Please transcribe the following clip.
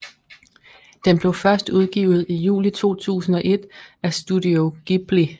Den blev først udgivet i juli 2001 af Studio Ghibli